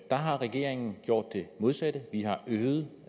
har regeringen gjort det modsatte vi har øget